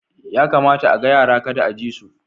Ya kamata a ga yara kada a ji su